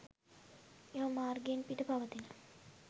එම මාර්ගයෙන් පිට පවතින